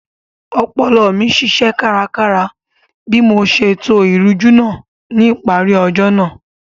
Ọpọlọ mi ṣiṣẹ́ kárakára bí mo ṣe to ìrújú náà ní ìparí ọjọ́ náà